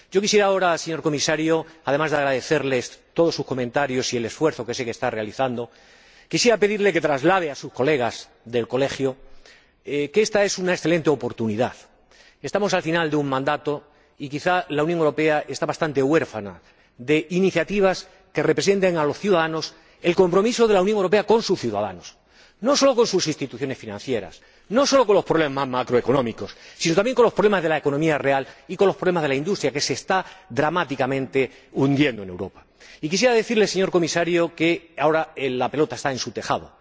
Yo quisiera ahora, señor Comisario, además de agradecerle todos sus comentarios y el esfuerzo que sé que está realizando, pedirle que traslade a sus colegas del colegio que ésta es una excelente oportunidad, que estamos al final de un mandato y quizá la Unión Europea está bastante huérfana de iniciativas que representen ante los ciudadanos el compromiso de la Unión Europea con sus ciudadanos, no solo con sus instituciones financieras, no solo con los problemas macroeconómicos, sino también con los problemas de la economía real y con los problemas de la industria, que se está dramáticamente hundiendo en Europa. Y quisiera decirle, señor Comisario, que ahora la pelota está en su tejado.